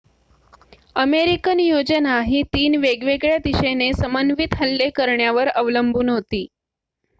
American योजना ही तीन वेगवेगळ्या दिशेने समन्वित हल्ले करण्यावर अवलंबून होती